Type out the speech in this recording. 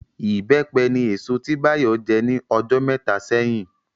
Ìbẹ́pẹ ni èso tí Bayo jẹ ní ọjọ́ mẹ́ta sẹ́yìn